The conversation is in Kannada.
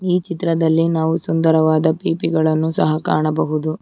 ಈ ಚಿತ್ರದಲ್ಲಿ ನಾವು ಸುಂದರವಾದ ಪಿಪಿಗಳನ್ನು ಸಹ ಕಾಣಬಹುದು.